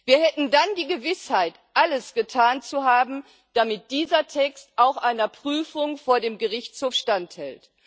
Wir hätten dann die Gewissheit, alles getan zu haben, damit dieser Text auch einer Prüfung vor dem Gerichtshof standhält.